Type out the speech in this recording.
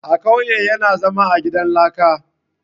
A kauye yana zama a gidan laka